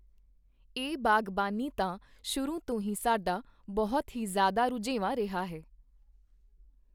ਇਹ ਬਾਗ਼ਬਾਨੀ ਤਾਂ ਸ਼ੁਰੂ ਤੋਂ ਹੀ ਸਾਡਾ ਬਹੁਤ ਹੀ ਜ਼ਿਆਦਾ ਰੁਝੇਵਾਂ ਰਿਹਾ ਹੈ